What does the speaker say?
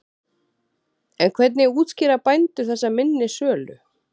En hvernig útskýra bændur þessa minni sölu?